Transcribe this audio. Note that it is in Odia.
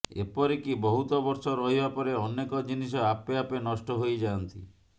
ଏପରିକି ବହୁତ ବର୍ଷ ରହିବା ପରେ ଅନେକ ଜିନିଷ ଆପେ ଆପେ ନଷ୍ଟ ହୋଇ ଯାଆନ୍ତି